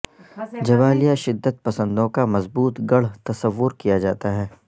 Jabalia شدت پسندوں کا مضبوط گڑھ تصور کیا جاتا ہے